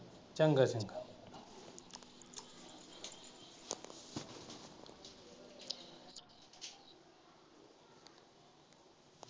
ਚੰਗਾ ਚੰਗਾ।